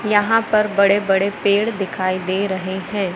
यहां पर बड़े-बड़े पेड़ दिखाई दे रहे हैं।